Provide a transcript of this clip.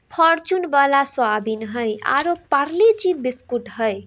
Fortune वाला soybean है और पारले-जी बिस्कुट है।